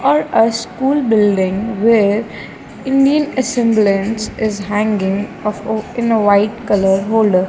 are a school building where Indian assemblance is hanging of in a white colour holder.